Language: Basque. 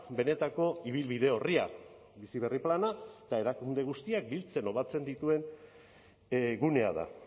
benetako ibilbide orria bizi berri plana eta erakunde guztiak biltzen o batzen dituen gunea da